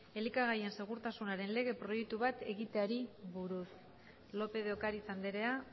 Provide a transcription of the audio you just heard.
elikagaien segurtasunaren lege proiektu bat egiteari buruz lópez de ocariz andrea